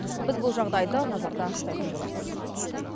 біз бұл жағыдайды назарда ұстайтын боламыз